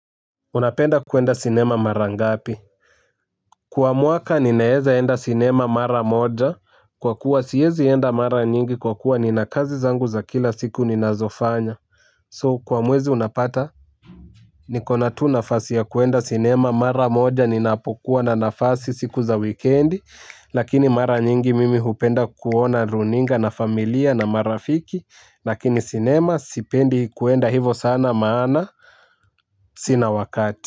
Unapenda kuenda sinema mara ngapi. Kwa muaka ninaeza enda sinema mara moja kwa kuwa siyezi enda mara nyingi kwa kuwa ni na kazi zangu za kila siku ni nazofanya So kwa muwezi unapata. Nikona tu nafasi ya kuenda sinema mara moja ninapokuwa na nafasi siku za weekendi lakini mara nyingi mimi upenda kuona runinga na familia na marafiki lakini sinema sipendi kuenda hivo sana maana sina wakati.